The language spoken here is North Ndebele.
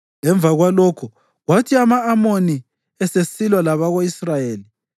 Emva kwalokho, kwathi ama-Amoni esesilwa labako-Israyeli,